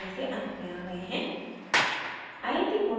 हम इस tutorial के अंत में आ गए हैं